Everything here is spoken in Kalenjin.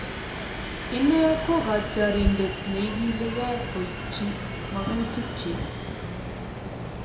Ine ko kotiorindet neigiligei koichi magutikyi